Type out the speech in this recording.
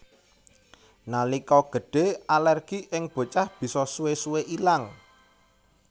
Nalika gedhe alergi ing bocah bisa suwe suwe ilang